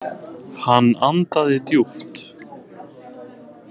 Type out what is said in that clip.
Hann andaði djúpt.